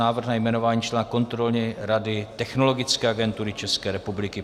Návrh na jmenování člena Kontrolní rady Technologické agentury České republiky